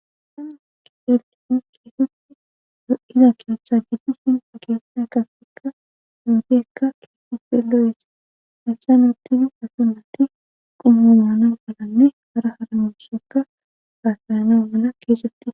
Hasanu kielxuun kiifut do7iza keeththa jiddu sin ageesna kasekka duudeekka kifufelo7es hayssanutidi asunnatti qummumaana malanne hara haramishekka haasayano mala keesetti.